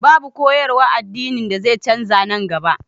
Babu koyarwar addini da zai canza nan gaba